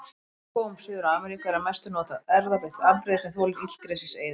Í regnskógum Suður-Ameríku er að mestu notað erfðabreytt afbrigði sem þolir illgresiseyði.